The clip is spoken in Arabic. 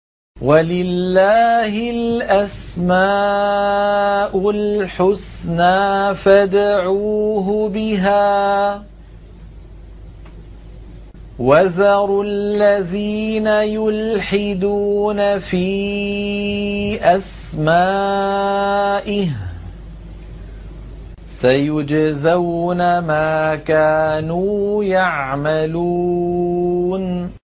وَلِلَّهِ الْأَسْمَاءُ الْحُسْنَىٰ فَادْعُوهُ بِهَا ۖ وَذَرُوا الَّذِينَ يُلْحِدُونَ فِي أَسْمَائِهِ ۚ سَيُجْزَوْنَ مَا كَانُوا يَعْمَلُونَ